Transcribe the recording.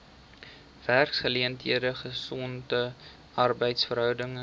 werksgeleenthede gesonde arbeidsverhoudinge